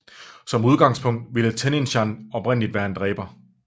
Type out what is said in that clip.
Som udgangspunkt ville Tenshinhan originalt være en dræber